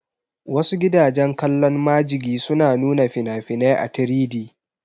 Wasu gidajen kallon majigi suna nuna fina-finai a 3D